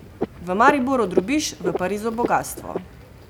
V Mariboru drobiž, v Parizu bogastvo!